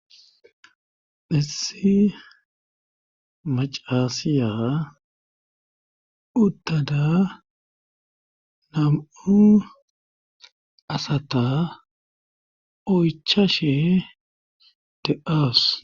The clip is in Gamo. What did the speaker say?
Issi macaasiya uttada nam7u asata oychashe de7awusis